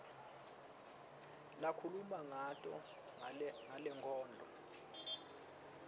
lakhuluma ngako kulenkondlo